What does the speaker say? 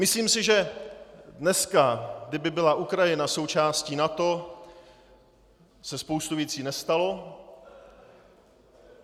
Myslím si, že dneska, kdyby byla Ukrajina součástí NATO, se spousta věcí nestala.